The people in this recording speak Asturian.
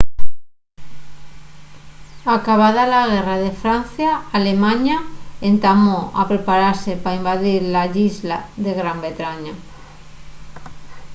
acabada la guerra de francia alemaña entamó a preparase pa invadir la islla de gran bretaña